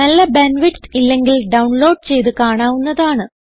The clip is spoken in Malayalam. നല്ല ബാൻഡ് വിഡ്ത്ത് ഇല്ലെങ്കിൽ ഡൌൺലോഡ് ചെയ്ത് കാണാവുന്നതാണ്